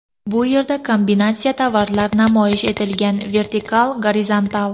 Bu yerda kombinatsiya tovarlar namoyish etilgan vertikal, gorizontal.